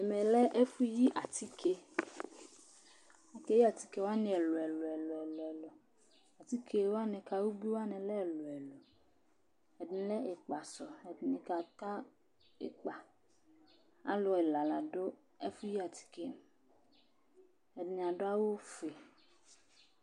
Ɛmɛ lɛ ɛfʋyi atike Akeyi atike wanɩ ɛlʋ-ɛlʋ Atike wanɩ ka ubui wanɩ lɛ ɛlʋ-ɛlʋ Ɛdɩnɩ lɛ ɩkpasʋ, ɛdɩnɩ kaka ɩkpa Alʋ ɛla la dʋ ɛfʋyi atike yɛ, ɛdɩnɩ adʋ awʋfue